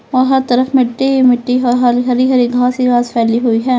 और हर तरफ मिट्टी ही मिट्टी है हरी हरी घास ही घास फैली हुई है।